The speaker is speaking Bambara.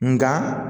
Nga